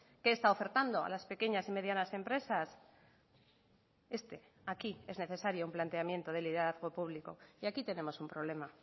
qué está ofertando a las pequeñas y medianas empresas este aquí es necesario un planteamiento de liderazgo público y aquí tenemos un problema